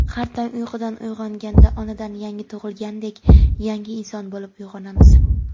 har tong uyqudan uyg‘onganda onadan yangi tug‘ilgandek yangi inson bo‘lib uyg‘onamiz.